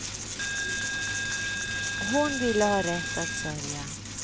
Hon ville ha rätt att sörja.